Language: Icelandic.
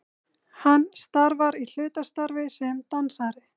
Hann starfar í hlutastarfi sem dansari